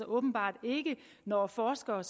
åbenbart ikke når forskere